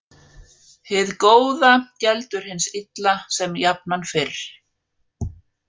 Hið góða geldur hins illa sem jafnan fyrr.